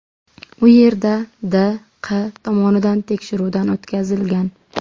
U yerda D. Q. tomonidan tekshiruvdan o‘tkazilgan.